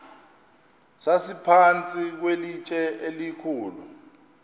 sasiphantsi kwelitye elikhulu